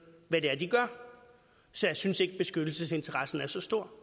hvad det er de gør så jeg synes ikke beskyttelsesinteressen er så stor